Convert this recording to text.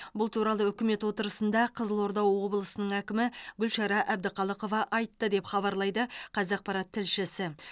бұл туралы үкімет отырысында қызылорда облысының әкімі гүлшара әбдіқалықова айтты деп хабарлайды қазақпарат тлшісі